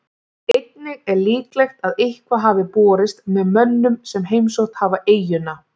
Einnig er líklegt að eitthvað hafi borist með mönnum sem heimsótt hafa eyjuna.